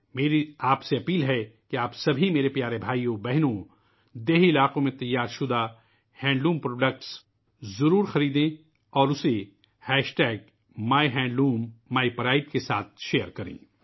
میں آپ سبھی عزیز بھائیوں اور بہنوں سے گزارش کرتا ہوں کہ وہ دیہی علاقوں میں تیار کردہ ہینڈلوم مصنوعات خریدیں اور اسے میہندلومیپرائڈ کے ساتھ شیئر کریں